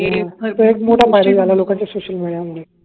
हे एक मोठ फायदे झाल लोकांचं सोशल मेडिया मुळे